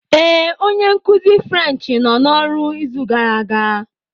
Ee, onye nkuzi French nọ n'ọrụ n'izu gara aga.